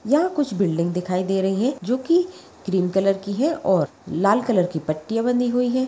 यहाँ कुछ बिल्डिंग दिखाई दे रही है जो कि क्रीम कलर की है और लाल कलर की पट्टियां बंधी हुई है।